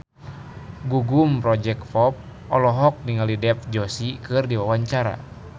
Gugum Project Pop olohok ningali Dev Joshi keur diwawancara